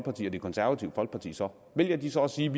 det konservative folkeparti så vælger de så at sige